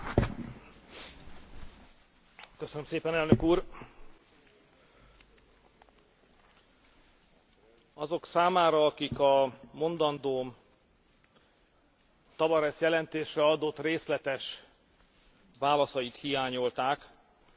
Azok számára, akik a mondandóm Tavares jelentésre adott részletes válaszait hiányolták, szeretném elmondani, hogy az elnöknek átadtunk egy memorandumot, amit a magyar kormány készített, és ezt a memorandumot az én beszédem